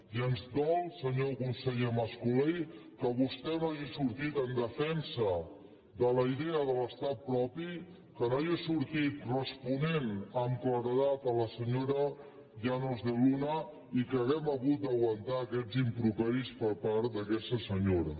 i ens dol senyor conseller mas colell que vostè no hagi sortit en defensa de la idea de l’estat propi que no hagi sortit responent amb claredat a la senyora llanos de luna i que hàgim hagut d’aguantar aquests improperis per part d’aquesta senyora